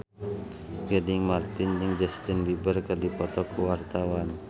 Gading Marten jeung Justin Beiber keur dipoto ku wartawan